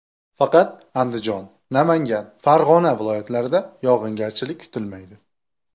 Faqat Andijon, Namangan, Farg‘ona viloyatlarida yog‘ingarchilik kutilmaydi.